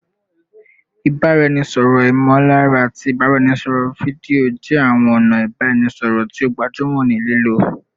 Ibaraẹnisọrọ imolara ati ibaraẹnisọrọ fidio jẹ awọn ọna ibaraẹnisọrọ ti o gbajumo ni lilo